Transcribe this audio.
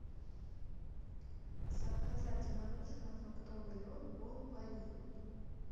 заказать мороженое фруктовый лед бон пари